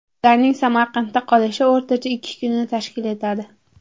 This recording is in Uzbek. Ularning Samarqandda qolishi o‘rtacha ikki kunni tashkil etadi.